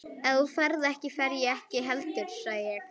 Ef þú ferð ekki, fer ég ekki heldur sagði ég.